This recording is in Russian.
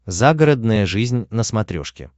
загородная жизнь на смотрешке